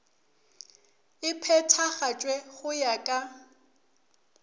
e phethagatšwe go ya ka